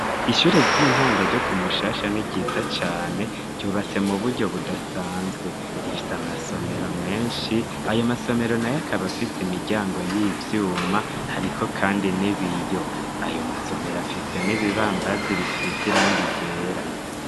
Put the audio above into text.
Ishure ry'intango ryo ku Mushasha ni ryiza cane, ryyubatse mu buryo budasanzwe. Rifise amasomero menshi, ayo masomero nayo akaba afise imiryango y'ivyuma. Hriko kandi n'ibiyo. Ayo masomero afise n'ibibambazi bisize irangi ryera.